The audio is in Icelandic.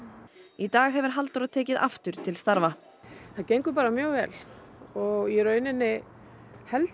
í dag hefur Halldóra tekið aftur til starfa það gengur bara mjög vel og í rauninni held